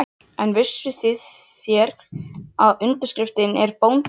En hvernig vissuð þér, að undirskriftin er Bóndi í Djúpinu?